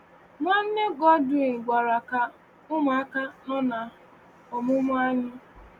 Nwanne Godwin gwara ka ụmụaka nọ n’omụmụ anyị.